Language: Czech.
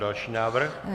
Další návrh.